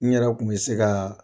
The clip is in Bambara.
N yɛrɛ kun bɛ se ka